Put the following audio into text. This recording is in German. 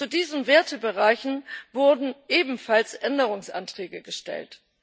Zu diesen Wertebereichen wurden ebenfalls Änderungsanträge gestellt.